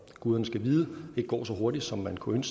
guderne skal vide ikke går så hurtigt som man kunne